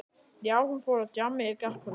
Já, hún fór út á djammið í gærkvöldi.